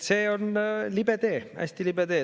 See on libe tee, hästi libe tee.